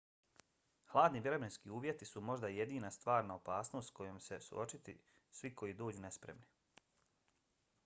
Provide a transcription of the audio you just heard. hladni vremenski uvjeti su možda jedina stvarna opasnost s kojom će se suočiti svi koji dođu nespremni